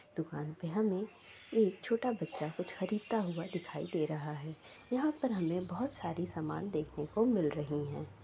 दुकान पर हमे एक छोटा बच्चा कुछ खरीदता हुआ दिखाई दे रहा है | यहाँ पर हमे बहुत सारी सामान देखने को मिल रहीं हैं ।